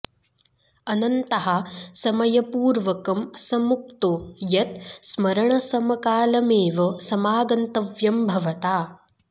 अन्ततः समयपूर्वकं स मुक्तो यत् स्मरणसमकालमेव समागन्तव्यं भवता